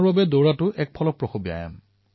দৌৰাটো মনমস্তিষ্ক আৰু শৰীৰৰ বাবে লাভদায়ী